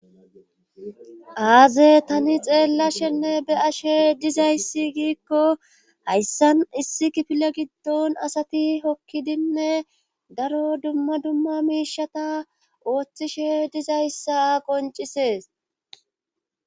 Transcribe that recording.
aaze tani xeellashenne be'ashe dizayssi giikko hayssan issi kifile giddon asati hokkidinne daro dumma dumma miishata ooththishe dizayssa qoncisees